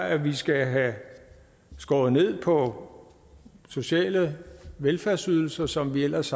at vi skal have skåret ned på sociale velfærdsydelser som vi ellers